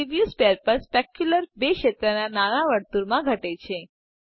preview sphere પર specular ર ક્ષેત્ર નાના વર્તુળમાં ઘટે છે